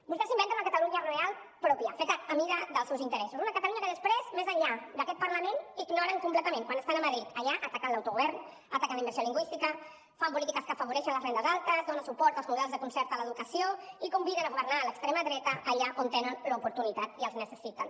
vostès s’inventen una catalunya real pròpia feta a mida dels seus interessos una catalunya que després més enllà d’aquest parlament ignoren completament quan estan a madrid allà ataquen l’autogovern ataquen la immersió lingüística fan polítiques que afavoreixen les rendes altes donen suport als models de concert a l’educació i conviden a governar l’extrema dreta allà on en tenen l’oportunitat i els necessiten